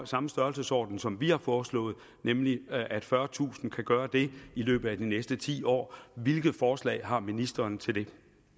samme størrelsesorden som vi har foreslået nemlig at fyrretusind kan gøre det i løbet af de næste ti år hvilke forslag har ministeren til det